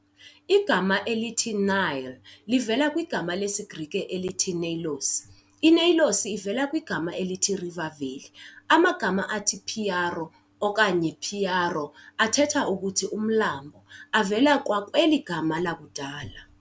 Igama elithi "Nile"livela kwigama lesiGrike elithi "Neilos". I-Neilos iveal kwigama elithi "river valley". Amagama athi "piaro" okanye "phiaro" athetha ukuthi "umlambo" avela kwakweli gama lakudala.